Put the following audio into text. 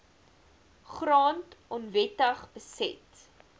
grond onwettig beset